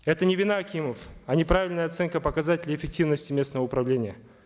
это не вина акимов а неправильная оценка показателей эффективности местного управления